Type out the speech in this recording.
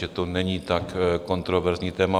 Že to není tak kontroverzní téma.